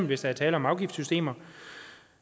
hvis der er tale om afgiftssystemer